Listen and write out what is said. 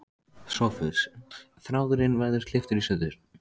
SOPHUS: Þráðurinn verður klipptur í sundur.